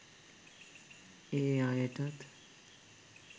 ඒ අයටත්